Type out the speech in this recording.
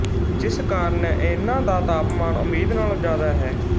ਜਿਸ ਕਾਰਨ ਇਹਨਾਂ ਦਾ ਤਾਪਮਾਨ ਉਮੀਦ ਨਾਲ਼ੋਂ ਜ਼ਿਆਦਾ ਹੈ